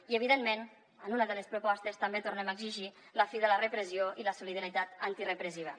i evidentment en una de les propostes també tornem a exigir la fi de la repressió i la solidaritat antirepressiva